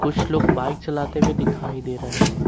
कुछ लोग बाइक चलाते हुए दिखाई दे रहे है।